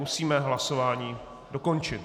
Musíme hlasování dokončit.